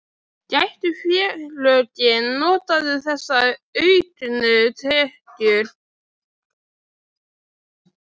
Gætu félögin notað þessa auknu tekjur?